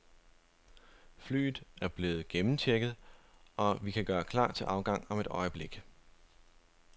Flyet er nu blevet gennemchecket, og vi kan gøre klar til afgang om et øjeblik.